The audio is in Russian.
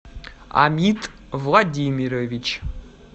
амид владимирович